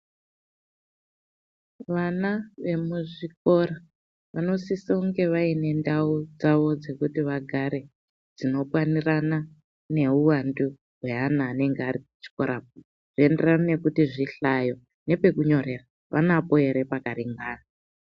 Vana vemuzvikora, vanosisonge vaine ndau dzavo dzekuti vagare, dzinokwanirana neuwandu hweana anenga ari kuchikora .Zvinoenderana nekuti zvihlayo nepekunyorera vanapo ere pakaringana.